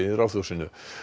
Ráðhúsinu